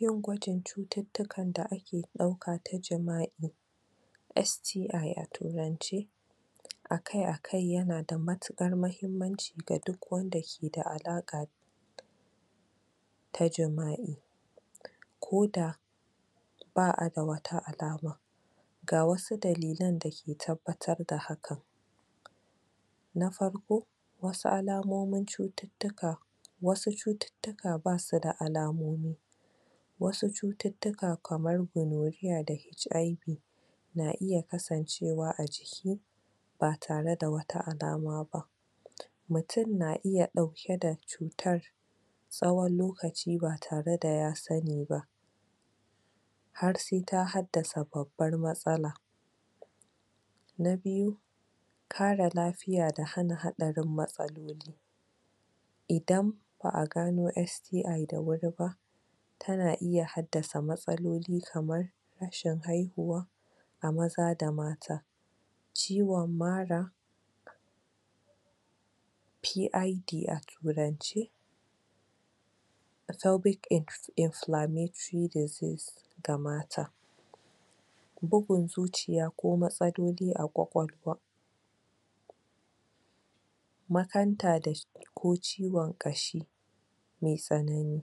Yin gwajin cututtukan da ake ɗauka ta jima'i STI a turance, akai akai ya na da matuƙar mahimmanci ga duk wanda ke da alaƙa ta jima'i, ko da ba'a da wata alama, ga wasu dalilan da ke tabbatar da hakan na farko: Wasu alamomin cututtuka wasu cututtuka ba su da alamomi, wasu cututtuka kamar gonorrhea da HIV na iya kasancewa a jiki ba tare da wata alama ba, mutum na iya ɗauke da cutar tsawon lokaci ba tare da ya sani ba, har sai ta haddasa babbar matsala. Na biyu: Kare lafiya da hana haɗarin matsaloli idan ba'a gano STI da wuri ba ta na iya haddasa matsaloli kamar: rashin haihuwa a maza da mata, ciwon mara, PID a turance, Pelvic Inflammatory Disease ga mata, bugun zuciya ko matsaloli a ƙwaƙwalwa, makanta da ko ciwon ƙashi mai tsanani.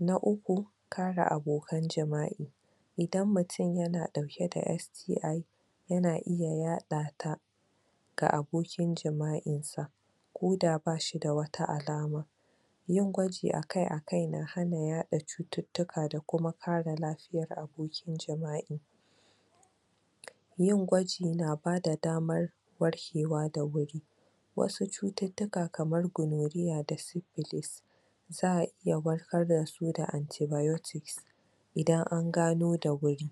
Na uku: Kare abokan jima'i idan mutum ya na ɗauke da STI ya na iya yaɗata ga abokin jima'insa, ko da ba shi da wata alama, yin gwaji akai akai na hana yaɗa cututtuka da kuma kare lafiyar abokin jima'i, yin gwaji na bada damar warkewa da wuri, wasu cututtuka kamar gonorrhea da cipilus, za'a iya warkar da su da antibiotics idan an gano da wuri,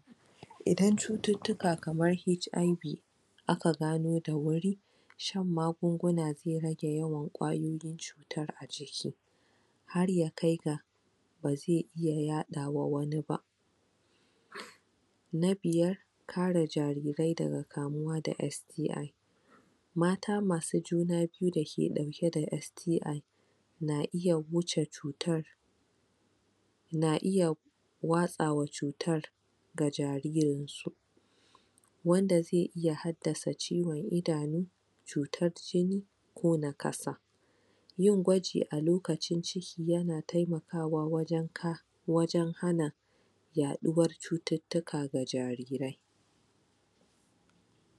idan cututtuka kamar HIV aka gano da wuri shan magunguna zai rage ƙwayoyin cutar a jiki, shan magunguna zai rage yawan ƙwayoyin cutar a jiki har ya kai ga ba zai iya yaɗawa wani ba. Na biyar: Kare jarirai daga kamuwa da STI mata masu juna biyu da ke ɗauke da STI na iya wuce cutar na iya watsawa cutar ga jaririnsu, wanda zai iya haddasa ciwon idanu, cutar jini, ko nakasa, yin gwaji a lokacin ciki ya na taimakawa wajen ka... wajen hana yaɗuwar cututtuka ga jarirai.